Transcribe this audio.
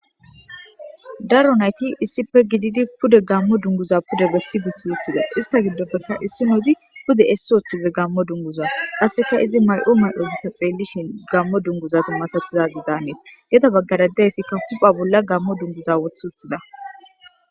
daro nayti issipe gididi pude gammo dunguza pude bessi bessi wuthida ista giddoppekka issi nozi pude essi ooththize gammo dunguza qasseka izi mayo mayozita xeellishin gammo dunguza tumasatizazi daanneesa yeda baggaradaytikka hupha bolla gammo dunguza woth wothida